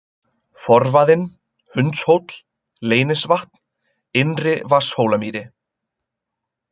Forvaðinn, Hundshóll, Leynisvatn, Innri-Vatnshólamýri